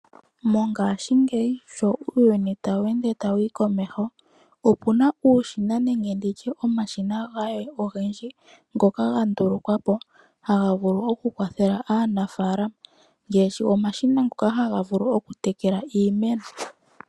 Mongashingeyi sho uuyuni tawu ende tawu yi komeho opuna omashina ngoka ga ndulukwa po okukwathela aanafalama ngaashi ngono gokutekela iimeno.